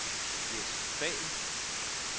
Jess Dahl